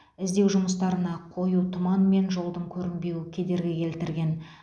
іздеу жұмыстарына қою тұман мен жолдың көрінбеуі кедергі келтірген